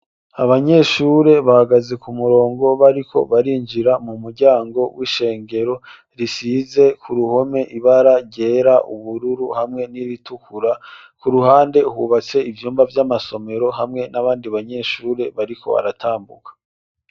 Abanyeshuri bahagaze kumurongo bariko barinjira kumuryango wisengero risize kuruhome ibara ryera hamwe nir'itukura .kuruhande hubatse ivyumba vy'amasomero hamwe nabandi banyeshure bariko baratambuka.